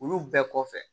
Olu bɛɛ kɔfɛ